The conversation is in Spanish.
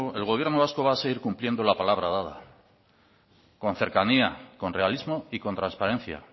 el gobierno vasco va a seguir cumpliendo la palabra dada con cercanía con realismo y con transparencia